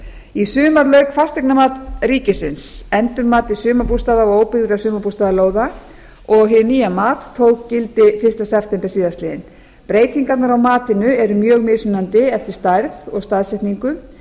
í sumar lauk fasteignamat ríkisins endurmati sumarbústaða og óbyggðra sumarbústaðalóða og hið nýja mat tók gildi fyrsta september síðastliðinn breytingar á matinu eru mjög mismunandi eftir stærð og staðsetningu